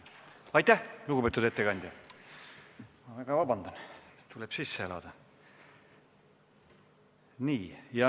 Aitäh, lugupeetud ettekandja!